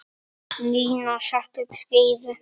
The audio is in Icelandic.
Nína setti upp skeifu.